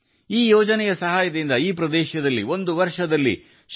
ಈ ಯೋಜನೆಯ ನೆರವಿನಿಂದ ಈ ಪ್ರದೇಶದಲ್ಲಿ ಒಂದು ವರ್ಷದಲ್ಲಿ ಶೇ